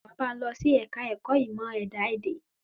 Wa bá n lọ sí ẹ̀ka ẹ̀kọ́ ìmọ̀ ẹ̀dá èdè